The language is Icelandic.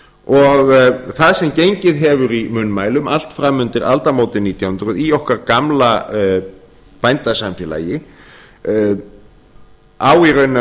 og það sem gengið hefur í munnmælum allt fram undir aldamótin nítján hundruð í okkar gamla bændasamfélaginu á í rauninni að